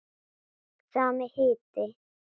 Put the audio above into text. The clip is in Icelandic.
Sami hiti.